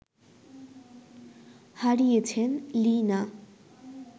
হারিয়েছেন লি না